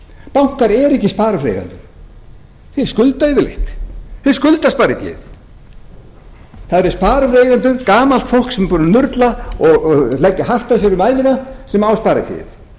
bankar eru ekki sparifjáreigendur þeir skulda yfirleitt þeir skulda spariféð það eru sparifjáreigendur gamalt fólk sem er búið að nurla og leggja hart að sér um ævina sem á spariféð